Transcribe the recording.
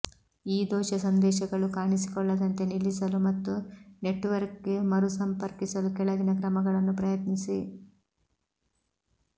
ಈ ದೋಷ ಸಂದೇಶಗಳು ಕಾಣಿಸಿಕೊಳ್ಳದಂತೆ ನಿಲ್ಲಿಸಲು ಮತ್ತು ನೆಟ್ವರ್ಕ್ಗೆ ಮರುಸಂಪರ್ಕಿಸಲು ಕೆಳಗಿನ ಕ್ರಮಗಳನ್ನು ಪ್ರಯತ್ನಿಸಿ